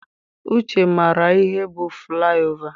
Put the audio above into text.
Uche maara ihe bụ flaị ova.